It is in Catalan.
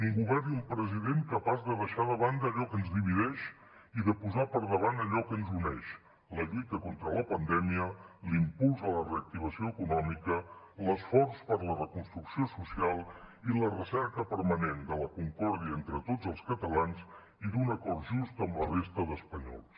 un govern i un president capaç de deixar de banda allò que ens divideix i de posar per davant allò que ens uneix la lluita contra la pandèmia l’impuls a la reactivació econòmica l’esforç per la reconstrucció social i la recerca permanent de la concòrdia entre tots els catalans i d’un acord just amb la resta d’espanyols